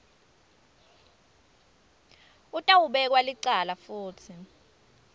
utawubekwa licala futsi